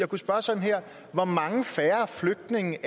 kunne spørge sådan her hvor mange færre flygtninge